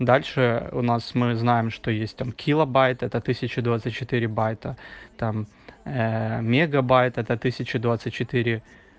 дальше у нас мы знаем что есть там килобайт это тысяча двадцать четыре байта там мегабайт это тысяча двадцать четыре